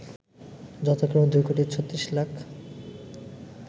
যথাক্রমে ২ কোটি ৩৬ লাখ